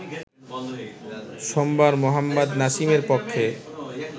সোমবার মোহাম্মদ নাসিমের পক্ষে